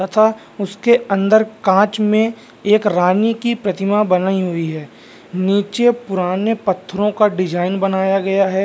तथा उसके अंदर कांच में एक रानी की प्रतिमा बनाई हुई है नीचे पुराने पत्थरों का डिजाइन बनाया गया है।